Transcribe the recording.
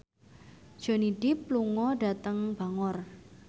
Johnny Depp lunga dhateng Bangor